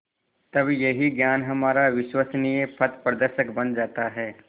तब यही ज्ञान हमारा विश्वसनीय पथप्रदर्शक बन जाता है